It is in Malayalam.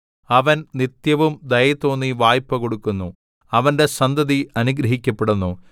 അവൻ നിത്യവും ദയതോന്നി വായ്പ കൊടുക്കുന്നു അവന്റെ സന്തതി അനുഗ്രഹിക്കപ്പെടുന്നു